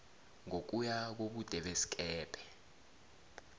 ngokuya kobude besikebhe